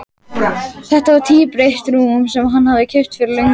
Þetta var tvíbreitt rúm sem hann hafði keypt fyrir löngu.